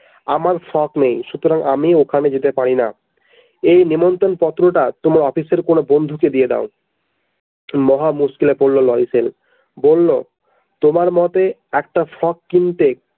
আমার frock নেই সুতরাং আমি ওখানে যেতে পারিনা এই নিমন্ত্রন পত্রটা তোমার অফিসে কোনো বন্ধুকে দিয়ে দাও মহা মুশকিলে পড়ল লরিসেল বলল তোমার মতে একটা frock কিনতে।